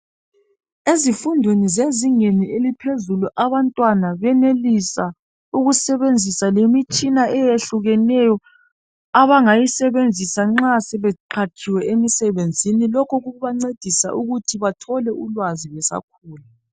Ezifundweni zezingeni eliphezulu, abantwana benelisa ukusebenzisa lemitshina eyehlukeneyo abangayisebenzisa nxa sebeqhatshiwe emsebenzini. Lokhu kubancedisa ukuthi bathole ulwazi besakhula.